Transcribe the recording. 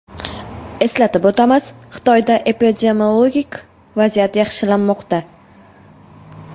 Eslatib o‘tamiz, Xitoyda epidemiologik vaziyat yaxshilanmoqda.